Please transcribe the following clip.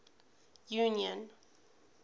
union